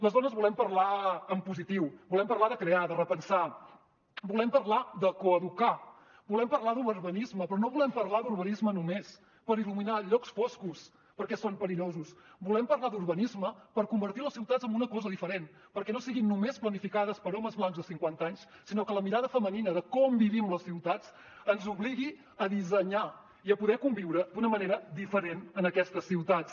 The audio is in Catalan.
les dones volem parlar en positiu volem parlar de crear de repensar volem parlar de coeducar volem parlar d’urbanisme però no volem parlar d’urbanisme només per il·luminar llocs foscos perquè són perillosos volem parlar d’urbanisme per convertir les ciutats en una cosa diferent perquè no siguin només planificades per homes blancs de cinquanta anys sinó que la mirada femenina de com vivim les ciutats ens obligui a dissenyar i a poder conviure d’una manera diferent en aquestes ciutats